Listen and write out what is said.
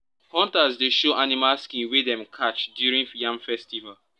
hunters dey show animal skin wey dem catch during yam festival.